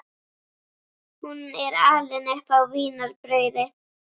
Hún er alin upp á vínarbrauði.